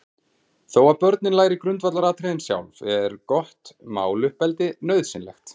Þó að börnin læri grundvallaratriðin sjálf, er gott máluppeldi nauðsynlegt.